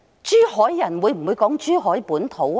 珠海人會否說"珠海本土"呢？